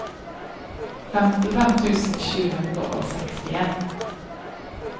femtifem tusen sju hundre og sekstien